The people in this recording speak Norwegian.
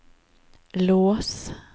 lås